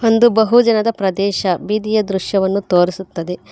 ಒಂದು ಬಹುಜನದ ಪ್ರದೇಶ ಬೀದಿಯ ದೃಶ್ಯವನ್ನು ತೋರಿಸುತ್ತದೆ.